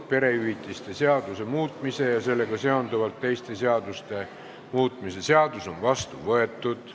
Perehüvitiste seaduse muutmise ja sellega seonduvalt teiste seaduste muutmise seadus on vastu võetud.